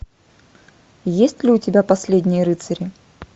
есть ли у тебя последние рыцари